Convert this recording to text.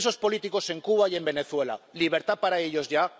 Hay presos políticos en Cuba y en Venezuela libertad para ellos, ya.